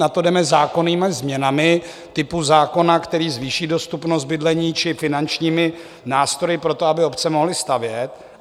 Na to jdeme zákonnými změnami typu zákona, který zvýší dostupnost bydlení, či finančními nástroji pro to, aby obce mohly stavět.